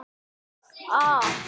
Afi!